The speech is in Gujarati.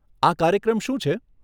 આ કાર્યક્રમ શું છે?